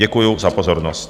Děkuju za pozornost.